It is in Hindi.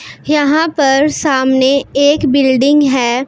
यहां पर सामने एक बिल्डिंग है।